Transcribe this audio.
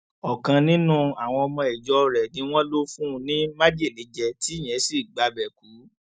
ọkan nínú àwọn ọmọ ìjọ rẹ ni wọn lò fún ní májèlé jẹ tí ìyẹn sì gbabẹ kú